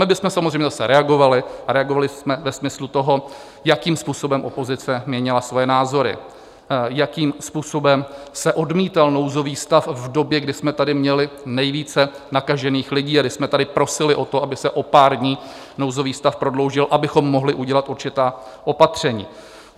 My bychom samozřejmě zase reagovali a reagovali jsme ve smyslu toho, jakým způsobem opozice měnila svoje názory, jakým způsobem se odmítal nouzový stav v době, kdy jsme tady měli nejvíce nakažených lidí a kdy jsme tady prosili o to, aby se o pár dní nouzový stav prodloužil, abychom mohli udělat určitá opatření.